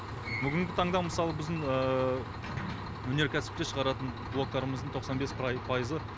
бүгінгі таңда мысалы біздің өнеркәсіпте шығаратын блоктарымыздың тоқсан бес пайызы